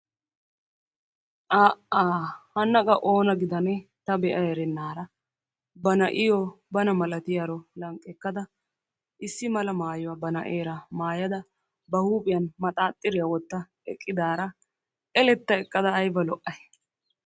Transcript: Aa"aa! Hanna qa oona gidannee ta bea erenaara ba na"iyo bana malatiyaro lanqqekkada issi mala maayuwa ba na'eera maayada ba huuphiyan maxxaaxxitiya wotta eqiidaara eletta ekka ayba lo''ay.